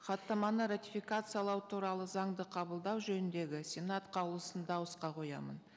хаттаманы ратификациялау туралы заңды қабылдау жөніндегі сенат қаулысын дауысқа қоямын